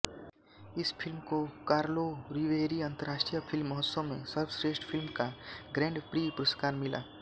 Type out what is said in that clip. इस फिल्म को कार्लोरीवेरी अन्तर्राष्ट्रीय फिल्म महोत्सव में सर्वश्रेष्ठ फिल्म का ग्रैंड प्रीं पुरस्कार मिला